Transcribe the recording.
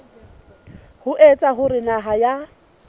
ho etsa hore naha ya